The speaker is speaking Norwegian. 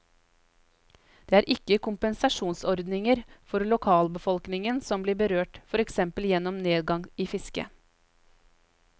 Det er ikke kompensasjonsordninger for lokalbefolkningen som blir berørt for eksempel gjennom nedgang i fisket.